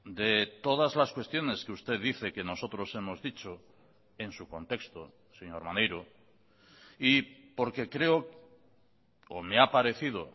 de todas las cuestiones que usted dice que nosotros hemos dicho en su contexto señor maneiro y porque creo o me ha parecido